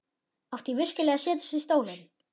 Átti ég virkilega að setjast í stólinn?